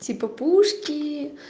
типа пушки